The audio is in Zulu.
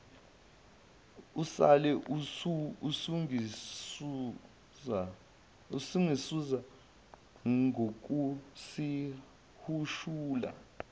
usale usungisiza ngokusihushula